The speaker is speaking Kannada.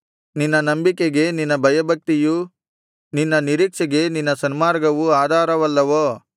ನಿನ್ನ ನಂಬಿಕೆಗೆ ನಿನ್ನ ಭಯಭಕ್ತಿಯೂ ನಿನ್ನ ನಿರೀಕ್ಷೆಗೆ ನಿನ್ನ ಸನ್ಮಾರ್ಗವೂ ಆಧಾರವಲ್ಲವೋ